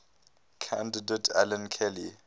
candidate alan kelly